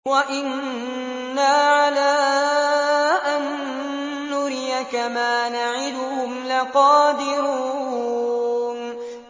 وَإِنَّا عَلَىٰ أَن نُّرِيَكَ مَا نَعِدُهُمْ لَقَادِرُونَ